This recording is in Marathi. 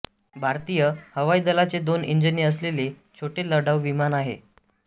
भारतीय हवाई दलाचे दोन इंजिने असलेले छोटे लढाऊ विमान आहे